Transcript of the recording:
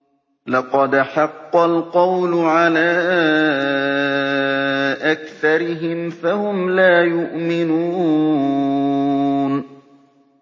لَقَدْ حَقَّ الْقَوْلُ عَلَىٰ أَكْثَرِهِمْ فَهُمْ لَا يُؤْمِنُونَ